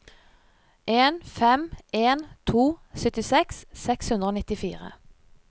en fem en to syttiseks seks hundre og nittifire